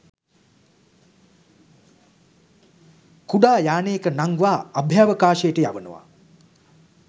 කුඩා යානයක නංවා අභ්‍යාවකාශයට යවනවා